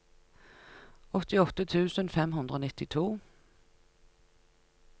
åttiåtte tusen fem hundre og nittito